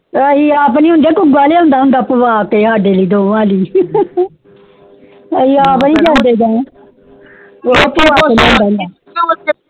ਏ ਆਪ ਨਹੀਂ ਹੋਂਦ ਕੁੱਕ ਵਾਲੇ ਪਾਵੈ ਕੇ ਸਾਡੇ ਲੀਯੇ ਢੋਂਗ ਵਾਲੀ